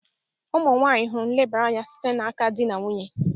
Ụmụ nwanyị hụrụ nlebara anya site n'aka di na nwunye